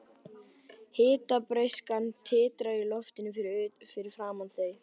Hitabreyskjan titrar í loftinu fyrir framan þau.